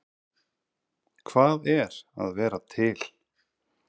Hvað er að vera til?